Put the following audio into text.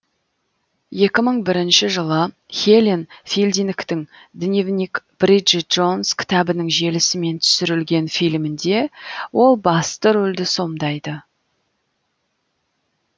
екі мың бірінші жылы хелен филдингтің дневник бриджит джонс кітабының желісімен түсірілген фильмінде ол басты рөлді сомдайды